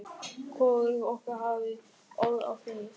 Hvorug okkar hafði orð á því.